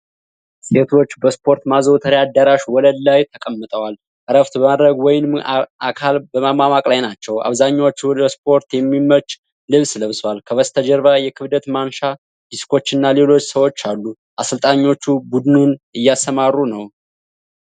ሴቶች በስፖርት ማዘውተሪያ አዳራሽ ወለል ላይ ተቀምጠዋል። እረፍት በማድረግ ወይንም አካል በማሟሟቅ ላይ ናቸው። አብዛኛዎቹ ለስፖርት የሚመች ልብስ ለብሰዋል። ከበስተጀርባ የክብደት ማንሻ ዲስኮችና ሌሎች ሰዎች አሉ። አሰልጣኞቹ ቡድኑን እያስተማሩ ነው።